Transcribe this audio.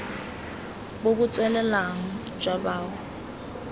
bo bo tswelelang jwa bao